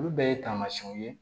Olu bɛɛ ye tamasiyɛnw ye